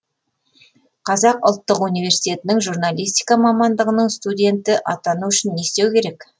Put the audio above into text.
қазақ ұлттық университетінің журналистика мамандығының студені атану үшін не істеу керек